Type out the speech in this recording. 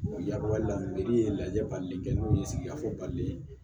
la ye lajɛli kɛ n'o ye sigikafɔ bali